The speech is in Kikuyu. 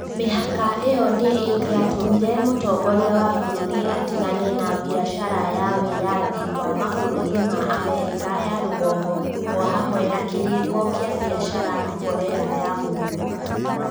Mĩhaka ĩyo nĩ ĩngĩatũmire mũtongoria wa bũrũri atigane na biacara ya wĩyathi na mabũrũri ma Amerika ya rũgongo o hamwe na kĩrĩĩko kĩa biacara na Korea ya Mũhuro.